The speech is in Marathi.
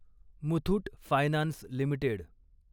Muthoot finance limited